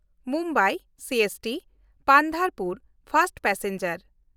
Mumbai CST-Pandharpur first passenger